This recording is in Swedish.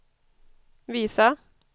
visa